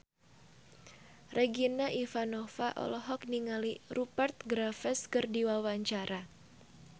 Regina Ivanova olohok ningali Rupert Graves keur diwawancara